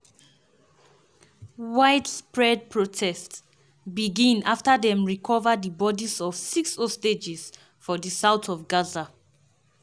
widespread protests begin afta dem recova di bodis of six hostages for di south of gaza.